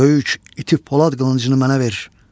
Böyük iti polad qılıncını mənə ver.